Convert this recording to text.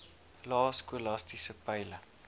lae skolastiese peile